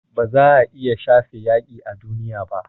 Ba za a iya shafe yaƙi a duniya ba